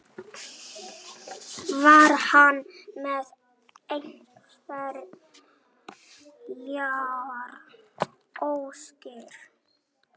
Var hann með einhverjar óskir?